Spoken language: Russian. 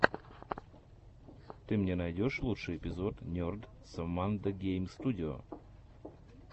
ты мне найдешь лучший эпизод нерд соммандо гейм студио